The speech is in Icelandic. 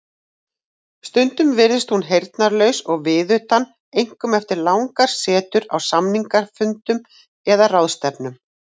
Stundum virðist hún heyrnarlaus og viðutan einkum eftir langar setur á samningafundum eða ráðstefnum.